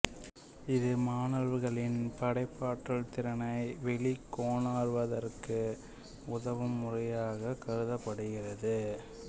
இது மாணவர்களின் படைப்பற்றல் திறனை வெளிக்கொணர்வதற்கு உதவும் முறையாகக் கருதப்படுகிறது